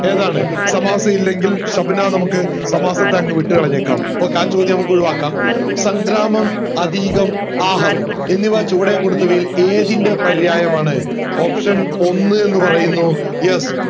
ഏതാണ് സമാസം ഇല്ലെങ്കിൽ ഷബ്‌ന നമക് സമാസത്തെ അങ്ങ് വിട്ട് കളഞ്ഞേക്കാ okay ആ ചോദ്യം നമക് ഒഴിവാക്കാ സംഗ്രാമം ആതീകം ആഹവം എന്നിവ ചുവടെ കൊടുത്തവയിൽ ഏതിന്റെ പരിയ്യയമാണ് option ഒന്ന് എന്ന് പറയുന്നു yes